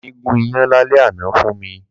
Dámi gùn iyán lálẹ́ àná fún mi